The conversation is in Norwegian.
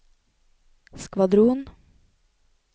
skvadron